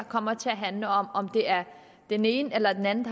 kommer til at handle om om det er den ene eller den anden